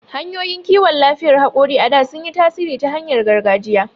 Hanyoyin kiwon lafiyar hakori a da sun yi tasiri ta hanyar gargajiya..